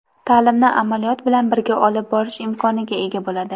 ta’limni amaliyot bilan birga olib borish imkoniga ega bo‘ladi.